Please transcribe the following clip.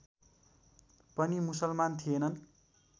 पनि मुसलमान थिएनन्